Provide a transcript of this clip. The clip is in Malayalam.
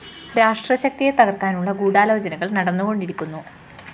രാഷ്ട്രശക്തിയെ തകര്‍ക്കാനുള്ള ഗൂഢാലോചനകള്‍ നടന്നുകൊണ്ടിരിക്കുന്നു